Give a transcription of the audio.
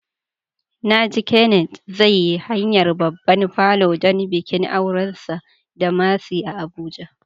Na ji Kenneth zai yi hayar babban falo don bikin aurensa da Mercy a Abuja.